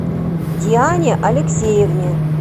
диане алексеевне